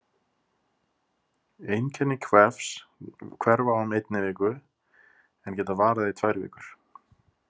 Einkenni kvefs hverfa á um einni viku en geta varað í tvær vikur.